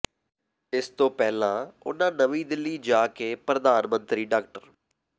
ਇਸ ਤੋਂ ਪਹਿਲਾਂ ਉਨ੍ਹਾਂ ਨਵੀਂ ਦਿੱਲੀ ਜਾ ਕੇ ਪ੍ਰਧਾਨ ਮੰਤਰੀ ਡਾ